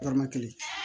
Dɔrɔmɛ kelen